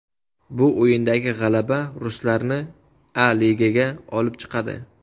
Bu o‘yindagi g‘alaba ruslarni A Ligaga olib chiqadi.